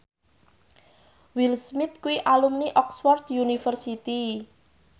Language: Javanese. Will Smith kuwi alumni Oxford university